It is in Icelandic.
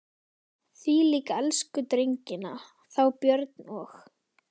Ég svík elsku drengina, þá Björn og